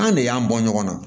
An ne y'an bɔ ɲɔgɔn na